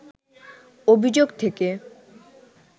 অভিযোগ থেকে